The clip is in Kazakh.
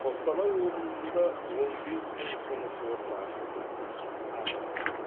қостанай облысында он бес мың жұмыс орны ашылды әкімдік